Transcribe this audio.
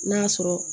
N'a sɔrɔ